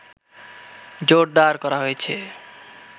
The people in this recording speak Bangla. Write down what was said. জোরদার করা হয়েছে